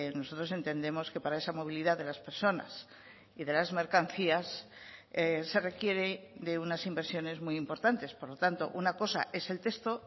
nosotros entendemos que para esa movilidad de las personas y de las mercancías se requiere de unas inversiones muy importantes por lo tanto una cosa es el texto